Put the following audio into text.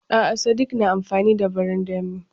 A'a sadik na amfani da barandami.